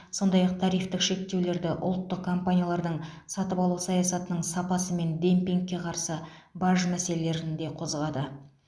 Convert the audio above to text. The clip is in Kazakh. сондай ақ тарифтік шектеулерді ұлттық компаниялардың сатып алу саясатының сапасы мен демпингке қарсы баж мәселелерін де қозғады